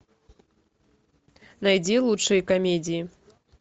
найди лучшие комедии